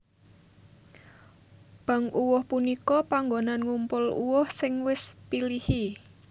Bank uwuh punika panggonan ngumpul uwuh sing wis pilihi